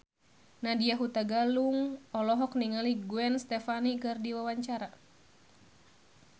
Nadya Hutagalung olohok ningali Gwen Stefani keur diwawancara